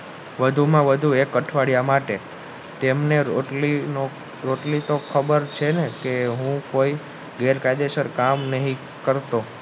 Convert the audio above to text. વધુમાં વધુ એક અઠવાડિયા માટે તેમને રોટલીનો તો ખબર છેને કે હું કોઈ ગેરકાયદેસર કામ નથી કરતો